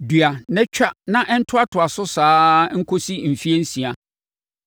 “Dua na twa na ɛntoatoa so saa ara nkɔsi mfeɛ nsia.